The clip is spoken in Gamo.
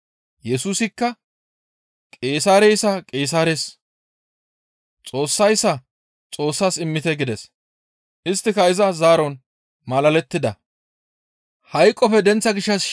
Yesusikka, «Qeesaareyssa Qeesaares, Xoossayssa Xoossas immite» gides. Isttika iza zaaron malalettida.